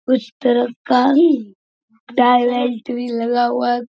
उस तरफ का भी लगा हुआ है।